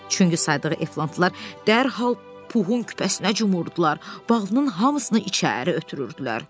Çünki saydığı efantlar dərhal Puhun küpəsinə cumurdular, balının hamısını içəri ötürürdülər.